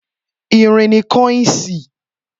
Irin ni kọ́ínsì